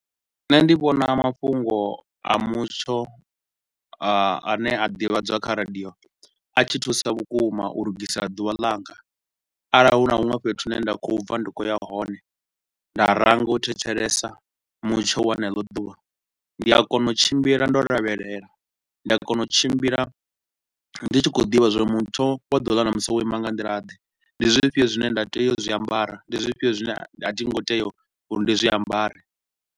Nṋe ndi vhona mafhungo a mutsho a a ne a divhadzwa kha radio a tshi thusa vhukuma u lugisa ḓuvha langa arali hu na huṅwe fhethu hu ne nda khou bva ndi tshi khou ya hone, nda ranga u thetshelesa mutsho wa haneḽo ḓuvha. Ndi a kona u tshimbila ndo lavhelela, ndi a kona u tshimbila ndi tshi khou ḓivha zwa uri mutsho wa ḓuvha ḽa ṋamusi wo ima nga nḓila ḓe, ndi zwifhio zwine nda tea u zwiambara, ndi zwifhio zwine a thi ngo tea uri ndi zwiambare.